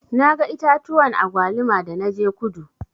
Na ga itatuwan agwaluma da na je kudu.